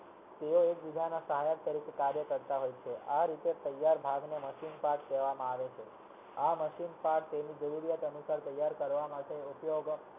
તેઓ એક બીજાના સહાયક તરીકે કાર્ય કરતા હોય છે આ રીતે તૈયાર ભાગ ને machine part લેવા માં આવે છે આ machine part તેની જરૂરિયાત અનુસાર ઉપયોગ